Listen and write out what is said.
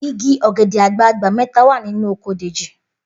Igi ò̩gè̩dè̩ àgbagbà mé̩ta wà nínú oko Dèjì